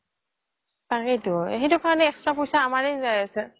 তাকেইটো সেইটো কাৰণে extra পইচা আমাৰে গৈ আছে